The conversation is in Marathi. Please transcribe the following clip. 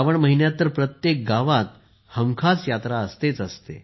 श्रावण महिन्यात तर प्रत्येक गावात हमखास जत्रा असतेच